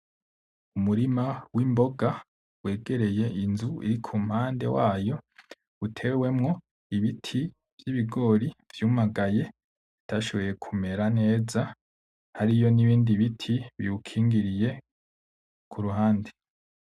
Umurima w'imboga wegereye inzu irikumpande wayo, utewemwo ibiti vy'ibigori vyumagaye bitashobora kumera neza, hariyo nibindi biti biwukingiriye kuruhande.